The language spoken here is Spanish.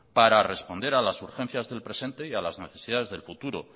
para responder a las urgencias del presente y a las necesidades del futuro